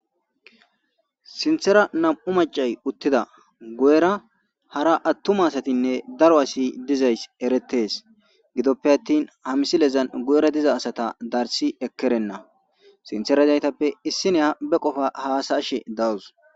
sinthera nam7u macay uttida gu7era hara attuma asatinne daro asi dizays eretes gidoppe attin hamisilezan gu7era diza asata darsi ekkerenna sintheradaytappe issine ha be qofa haasaashe dawus